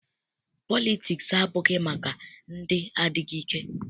Politiks abụghị maka ndị adịghị ike.